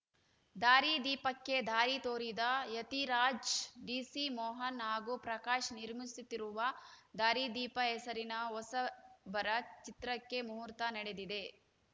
ದಾರಿದೀಪಕ್ಕೆ ದಾರಿ ತೋರಿದ ಯತಿರಾಜ್‌ ಡಿಸಿಮೋಹನ್‌ ಹಾಗೂ ಪ್ರಕಾಶ್‌ ನಿರ್ಮಿಸುತ್ತಿರುವ ದಾರಿದೀಪ ಹೆಸರಿನ ಹೊಸಬರ ಚಿತ್ರಕ್ಕೆ ಮುಹೂರ್ತ ನಡೆದಿದೆ